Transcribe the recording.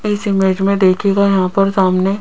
इस इमेज में देखिएगा यहां पर सामने--